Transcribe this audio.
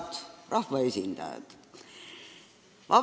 Head rahvaesindajad!